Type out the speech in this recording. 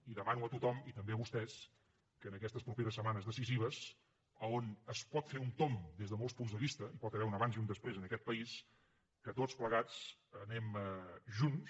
i demano a tothom i també a vostès que en aquestes properes setmanes decisives on es pot fer un tomb des de molts punts de vista hi pot haver un abans i un després en aquest país tots plegats anem junts